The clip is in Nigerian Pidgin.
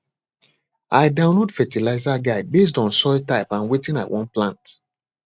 i download fertiliser guide based on soil type and wetin i wan plant